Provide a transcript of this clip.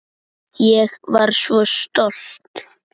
Ég var svo stolt.